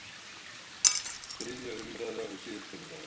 Þriðja umræða er síðasta umræða.